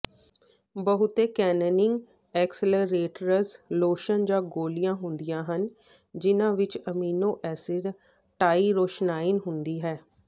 ਬਹੁਤੇ tanning accelerators lotion ਜਾਂ ਗੋਲੀਆਂ ਹੁੰਦੀਆਂ ਹਨ ਜਿਹਨਾਂ ਵਿੱਚ ਐਮੀਨੋ ਐਸਿਡ ਟਾਈਰੋਸਾਈਨ ਹੁੰਦੀ ਹੈ